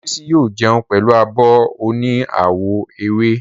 Olábísí yóò jẹun pẹ̀lú abọ́ oní àwọ̀ ewé